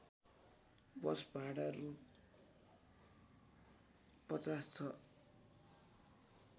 बस भाडा रु ५० छ